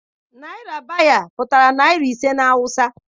Naira biyar pụtara naira ise na awụsa.